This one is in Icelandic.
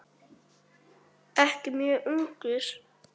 Ekki mjög ungur.